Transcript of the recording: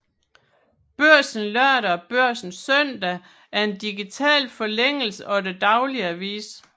Børsen Lørdag og Børsen Søndag er en digital forlængelse af den daglige avis